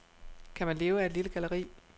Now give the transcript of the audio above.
Kan man leve af et lille galleri?